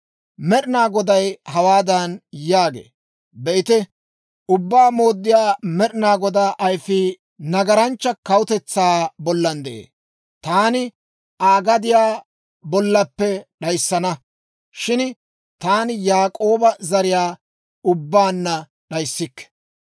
Med'inaa Goday hawaadan yaagee; «Be'ite, Ubbaa Mooddiyaa Med'inaa Godaa ayfii nagaranchcha kawutetsaa bollan de'ee. Taani Aa gadiyaa bollappe d'ayssana; shin taani Yaak'ooba zariyaa ubbaanna d'ayissikke.